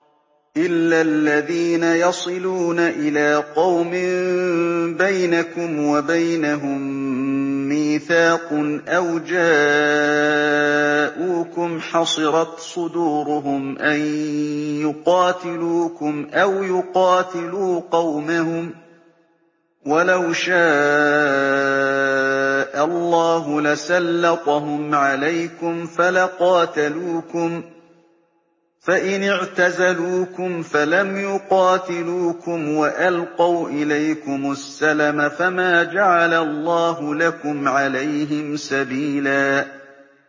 إِلَّا الَّذِينَ يَصِلُونَ إِلَىٰ قَوْمٍ بَيْنَكُمْ وَبَيْنَهُم مِّيثَاقٌ أَوْ جَاءُوكُمْ حَصِرَتْ صُدُورُهُمْ أَن يُقَاتِلُوكُمْ أَوْ يُقَاتِلُوا قَوْمَهُمْ ۚ وَلَوْ شَاءَ اللَّهُ لَسَلَّطَهُمْ عَلَيْكُمْ فَلَقَاتَلُوكُمْ ۚ فَإِنِ اعْتَزَلُوكُمْ فَلَمْ يُقَاتِلُوكُمْ وَأَلْقَوْا إِلَيْكُمُ السَّلَمَ فَمَا جَعَلَ اللَّهُ لَكُمْ عَلَيْهِمْ سَبِيلًا